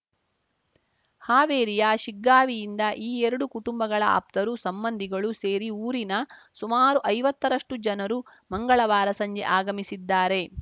ಹಾವೇರಿಯ ಶಿಗ್ಗಾವಿಯಿಂದ ಈ ಎರಡು ಕುಟುಂಬಗಳ ಆಪ್ತರು ಸಂಬಂಧಿಗಳು ಸೇರಿ ಊರಿನ ಸುಮಾರು ಐವತ್ತ ರಷ್ಟುಜನರು ಮಂಗಳವಾರ ಸಂಜೆ ಆಗಮಿಸಿದ್ದಾರೆ